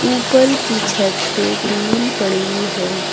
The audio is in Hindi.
ऊपर की छत पे टीन पड़ी है।